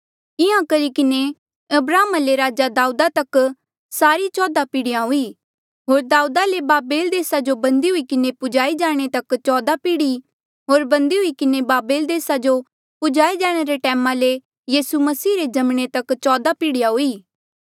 इंहां करी किन्हें अब्राहमा ले राजा दाऊदा तक सारी चौदा पीढ़िया हुई होर दाऊदा ले बाबेल देसा जो बंदी हुई किन्हें पहुँचाई जाणे तक चौदा पीढ़ी होर बंदी हुई किन्हें बाबेल देसा जो पूजाए जाणे रे टैमा ले यीसू मसीह रे जमणे तक चौदा पीढ़िया हुई